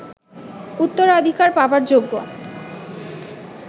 উত্তরাধিকার পাবার যোগ্য